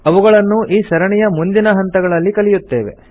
ಅವುಗಳನ್ನು ಈ ಸರಣಿಯ ಮುಂದಿನ ಹಂತಗಳಲ್ಲಿ ಕಲಿಯುತ್ತೇವೆ